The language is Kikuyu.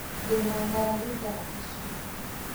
Ndĩna ng'aragu thaa ici.